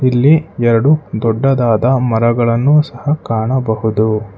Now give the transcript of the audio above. ಇಲ್ಲಿ ಎರಡು ದೊಡ್ಡದಾದ ಮರಗಳನ್ನು ಸಹ ಕಾಣಬಹುದು.